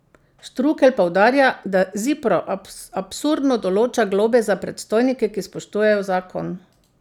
Štrukelj poudarja, da Zipro absurdno določa globe za predstojnike, ki spoštujejo zakon.